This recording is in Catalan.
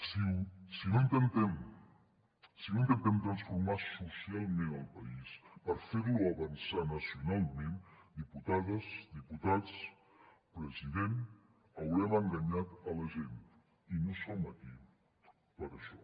si no intentem transformar socialment el país per fer lo avançar nacionalment diputades diputats president haurem enganyat la gent i no som aquí per a això